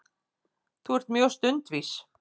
Þú ert mjög stundvís.